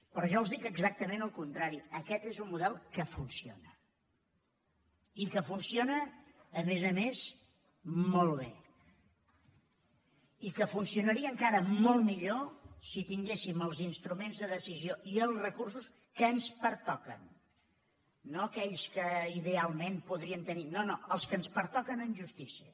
però jo els dic exactament el contrari aquest és un model que funciona i que funciona a més a més molt bé i que funcionaria encara molt millor si tinguéssim els instruments de decisió i els recursos que ens pertoquen no aquells que idealment podríem tenir no no els que ens pertoquen en justícia